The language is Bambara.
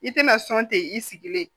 I tɛna sɔn ten i sigilen